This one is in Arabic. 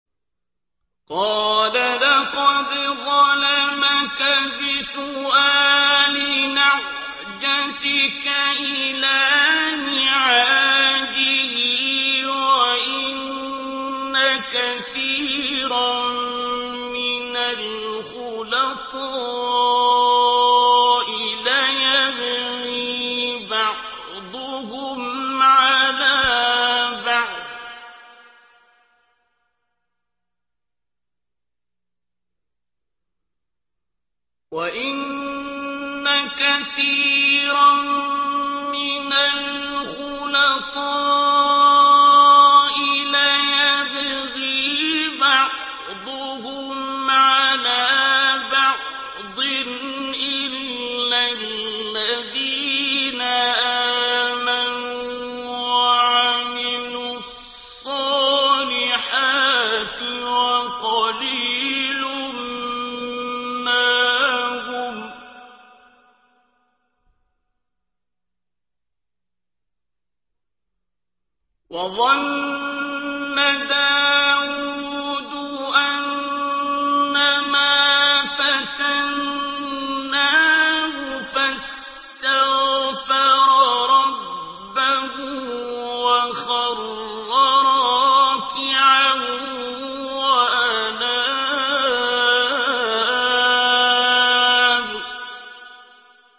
قَالَ لَقَدْ ظَلَمَكَ بِسُؤَالِ نَعْجَتِكَ إِلَىٰ نِعَاجِهِ ۖ وَإِنَّ كَثِيرًا مِّنَ الْخُلَطَاءِ لَيَبْغِي بَعْضُهُمْ عَلَىٰ بَعْضٍ إِلَّا الَّذِينَ آمَنُوا وَعَمِلُوا الصَّالِحَاتِ وَقَلِيلٌ مَّا هُمْ ۗ وَظَنَّ دَاوُودُ أَنَّمَا فَتَنَّاهُ فَاسْتَغْفَرَ رَبَّهُ وَخَرَّ رَاكِعًا وَأَنَابَ ۩